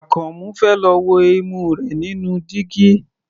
Àkànmú fẹ́ lọ wo imú rẹ̀ nínú dígí.